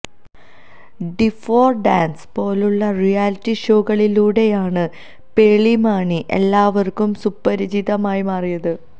D four dance പോലുളള reality ഷോകളിലൂടെയാണ് പേളി മാണി എല്ലാവര്ക്കും സുപരിചിതയായി മാറിയത്